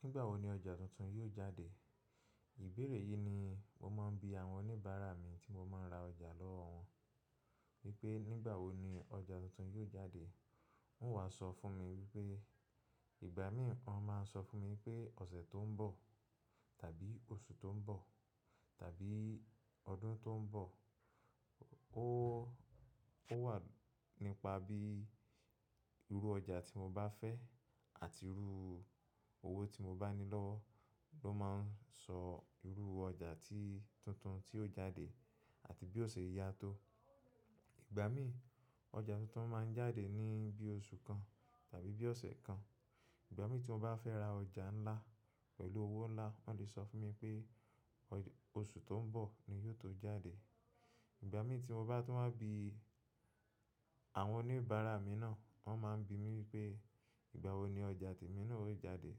Nígbà wo ni ọjà tuntun yóò jáde? Ìbéèrè yìí ni mo máa ń bi àwọn oníbàárà mi tí mo máa ń ra ọjà lọ́wọ́ wan wípé nígbà wo ni ọjà tuntun yóò jáde. Wọn wá sọ fún mi wípé, ìgbà mí ì wọ́n máa ń sọ fún mi wipé ọ̀sẹ̀ tó ń bọ̀, tàbí oṣù tó ń bọ̀, tàbí ọdún tó ń bọ̀. Ó, ó wà nípa bí irú ọjà tí mo bá fẹ́ àti irú owó tí mo bá ní lọ́wọ́ ló máa ń sọ irú ọjà tí tuntun tí ó jáde àti bí ó ṣe yá tó. Ìgbà mí ọjà tuntun máa ń jáde ní bí oṣù kan tàbí bí ọ̀sẹ̀ kan. Ìgbà mí tí mo bá fẹ́ ra ọjà ńlá pẹ̀lú owó ńlá wọ́n lè sọ fún mi pé ọjà oṣù tó ń bọ̀ ni yóò tó jáde. Ìgbà mí tí mo bá tún wá bi àwọn oníbàárà mi náà, wọ́n máa ń bi mi wípé ìgbà wo ni ọjà tèmi náà ó jáde.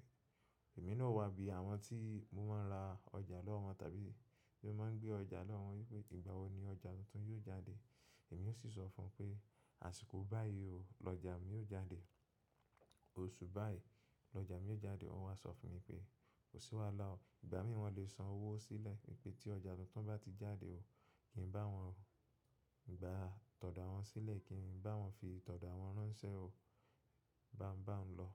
Èmi náà o wá bi àwọn tí mo máa ń ra ọjà lọ́wọ́ wọn tàbí tí mo máa ń gbé ọjà lọ́wọ́ wọn wípé ìgbà wo ni ọjà tuntun yóò jáde. Èmi ó sì sọ fún pé àsìkò báyìí o, lọjà mi yóò jáde. Oṣù báyìí lọjà mi yóò jáde. Wọ́n wá sọ fún mi pé kò sí wàhálà o, ìgbà mí wọ́n lè san owó sílẹ̀ wípé tí ọjà tuntun bá ti jáde o, kí ń bá wọn gba tọ̀do awọn sílẹ̀ kí ń bá wọn fi tọ̀do awọn ránṣẹ́ o. Bá ń bá ń lọ.